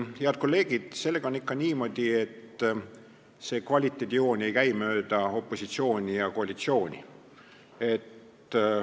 Head kolleegid, sellega on ikka niimoodi, et kvaliteedijoon ei käi mööda opositsiooni ja koalitsiooni.